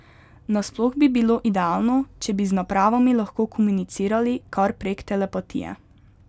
Nasploh bi bilo idealno, če bi z napravami lahko komunicirali kar prek telepatije.